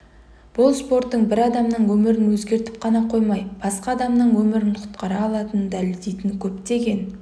бұл спорттың бір адамның өмірін өзгертіп қана қоймай басқа адамның өмірін құтқара алатынын дәлелдейтін көптеген